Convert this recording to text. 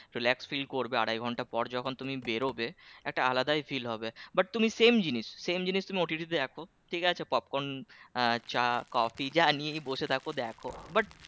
Relax feel আড়াই ঘন্টা পর যখন তুমি বেরোবে একটা আলাদাই feel হবে but তুমি same জিনিস same জিনিস তুমি দেখো ঠিক আছে popcorn আহ চা কফি যা নিয়েই বসে থাক দেখো but